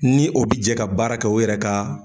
Ni o bi jɛ ka baara kɛ o yɛrɛ ka